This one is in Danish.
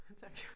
Tak